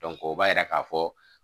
o b'a yira k'a fɔ